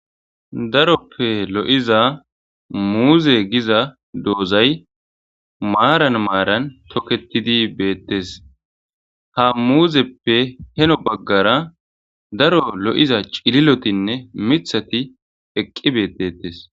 daroppe lo7iza muuze giza doozay maaran maaran toketidi beettes ha muuzeppe heno baggara daro lo7iza cililotinne mithati eqqi beettettes